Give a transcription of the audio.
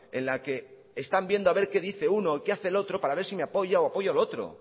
en la que están viendo a ver qué dice uno y qué hace el otro para ver si me apoya o apoya lo otro